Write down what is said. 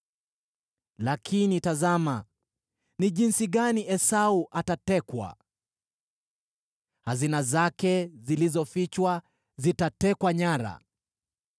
Lakini tazama jinsi Esau atakavyotekwa, jinsi hazina zake zilizofichwa zitatekwa nyara!